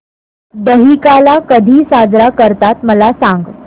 दहिकाला कधी साजरा करतात मला सांग